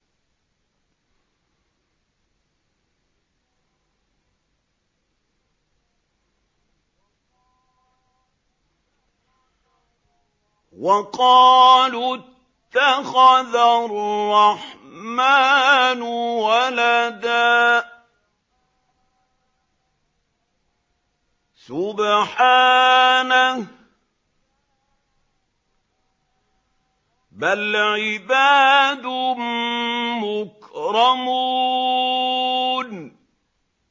وَقَالُوا اتَّخَذَ الرَّحْمَٰنُ وَلَدًا ۗ سُبْحَانَهُ ۚ بَلْ عِبَادٌ مُّكْرَمُونَ